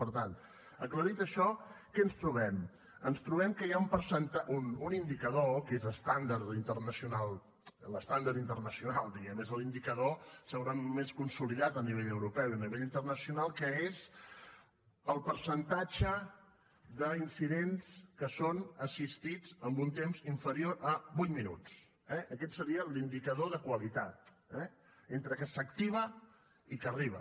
per tant aclarit això què ens trobem ens trobem que hi ha un indicador que és estàndard internacional l’estàndard internacional diguem ne és l’indicador segurament més consolidat a nivell europeu i a nivell internacional que és el percentatge d’incidents que són assistits en un temps inferior a vuit minuts eh aquest seria l’indicador de qualitat eh entre que s’activa i que arriba